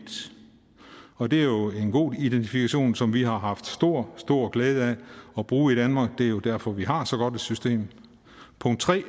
og det er jo en god identifikation som vi har haft stor stor glæde af at bruge i danmark det er jo derfor vi har så godt et system